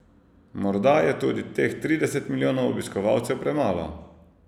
Morda je tudi teh trideset milijonov obiskovalcev premalo.